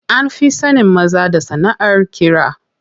An fi sanin maza da yin sanaʼar ƙira.